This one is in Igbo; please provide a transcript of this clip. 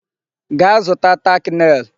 Gaa zụta tack nail!